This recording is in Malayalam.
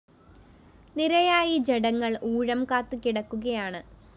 നിരയായി ജഡങ്ങള്‍ ഊഴംകാത്ത്‌ കിടക്കുകയാണ്‌